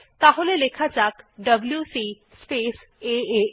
তাহলে লেখা যাক ডব্লিউসি স্পেস এএ